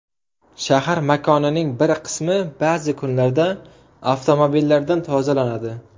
Shahar makonining bir qismi ba’zi kunlarda avtomobillardan tozalanadi.